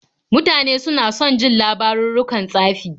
Mutane suna son jin labarurrukan tsafi.